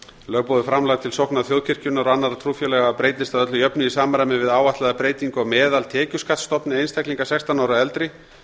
lögboðið framlag til sókna þjóðkirkjunnar og annarra trúfélaga breytist að öllu jöfnu í samræmi við áætlaða breytingu á meðaltekjuskattsstofni einstaklinga sextán ára og eldri